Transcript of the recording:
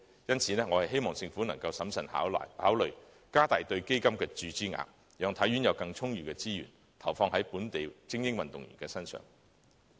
因此，我希望政府能審慎考慮增加對基金的注資額，讓體院有更充裕的資源，投放在本地精英運動員身上。